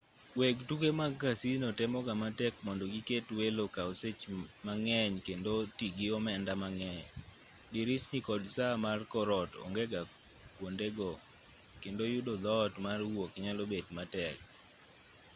weg tuke mag casino temoga matek mondo giket welo okaw sech mang'eny kendo otii gi omenda mang'eny dirisni kod saa mar kor ot ongega kwondego kendo yudo dhoot mar wuok nyalo bet matek